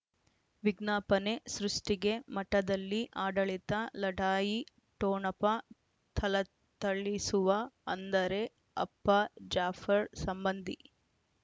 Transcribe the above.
ವಿಜ್ಞಾಪನೆ ಸೃಷ್ಟಿಗೆ ಮಠದಲ್ಲಿ ಆಡಳಿತ ಲಢಾಯಿ ಟೋಣಪ ಥಳಥಳಿಸುವ ಅಂದರೆ ಅಪ್ಪ ಜಾಫರ್ ಸಂಬಂಧಿ